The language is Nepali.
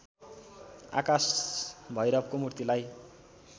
आकाश भैरवको मूर्तिलाई